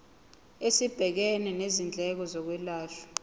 esibhekene nezindleko zokwelashwa